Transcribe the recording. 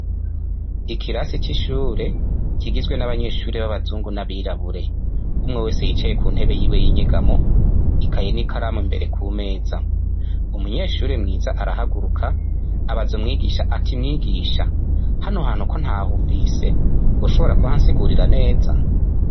Ikirasi cishure kigizwe nabanyeshure babazungu n'abirabure, umwe wese yicaye ku ntebe yiwe yinyegamo ikaye nikaramu imbere kumeza, umunyeshure mwiza arahaguruka abaza umwigisha ati mwigisha hano hantu ko ntahumvise woshobora kuhansigurira neza.